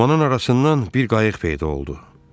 Dumanın arasından bir qayıq peyda oldu.